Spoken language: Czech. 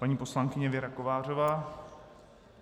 Paní poslankyně Věra Kovářová?